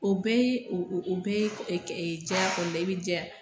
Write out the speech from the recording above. O bɛɛ ye o bɛɛ ye jɛya kɔnɔna i bɛ jɛya